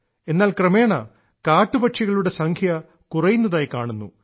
എന്നാൽ ക്രമേണ കാട്ടുപക്ഷികളുടെ സംഖ്യ കുറയുന്നതായി കാണുന്നു